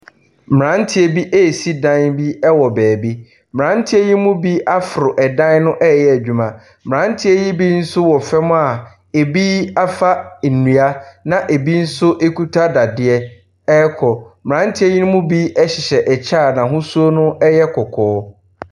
Mmeranteɛ bi resi dan bi wɔ baabi. Mmeranteɛ yi mu bi aforo dan no reyɛ adwuma. Mmeranteɛ yi bi nso wɔ fam a ɛbi afa nnua, na ɛbi nso kuta dadeɛ rekɔ. Mmeranteɛ yi mu bi hyehyɛ ɛkyɛ a n'ahosuo no yɛ kɔkɔɔ.